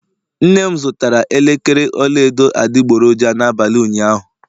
nnem zụtara elekere ọla edo adịgboroja n'abalị ụnyaahụ